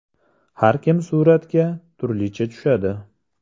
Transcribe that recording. Har kim suratga turlicha tushadi.